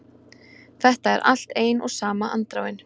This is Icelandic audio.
Þetta er allt ein og sama andráin